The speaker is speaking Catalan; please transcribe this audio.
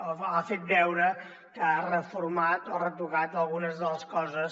o ha fet veure que ha reformat o ha retocat algunes de les coses